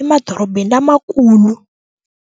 emadorobeni lamakulu.